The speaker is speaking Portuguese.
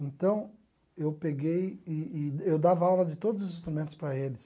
Então eu peguei e e eu dava aula de todos os instrumentos para eles.